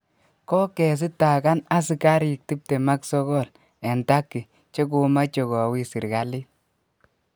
Kogesitagan asigarik 29 en turkey che komache kowis serkalit.